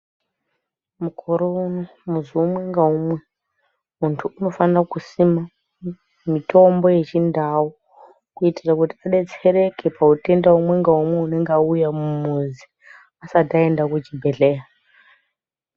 Mukorouno mwedzi umwe ngaumwe muntu unofanira kusima mutombo yechindau kuitira kuti tidetsereke pautenda umwe ngaumwe unenge auya mumuzi asati aenda kuchibhedhleya.